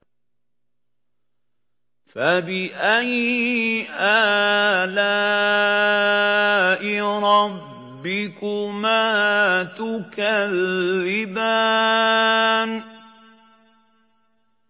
فَبِأَيِّ آلَاءِ رَبِّكُمَا تُكَذِّبَانِ